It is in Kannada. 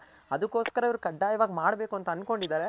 ಅದ್ಕೊಸ್ಸ್ಕರ ಇವ್ರು ಕಡ್ದಾಯವಾಗ್ ಮಾಡ್ಬೇಕು ಅಂತ ಅನ್ಕೊಂಡಿದಾರೆ.